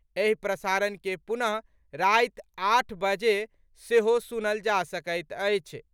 एहि प्रसारण के पुनः राति आठ बजे सेहो सुनल जा सकैत अछि।